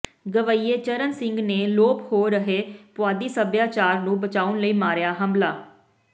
ਗਵੱਈਏ ਚਰਨ ਸਿੰਘ ਨੇ ਲੋਪ ਹੋ ਰਹੇ ਪੁਆਧੀ ਸੱਭਿਆਚਾਰ ਨੂੰ ਬਚਾਉਣ ਲਈ ਮਾਰਿਆ ਹੰਭਲਾ